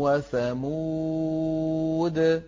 وَثَمُودُ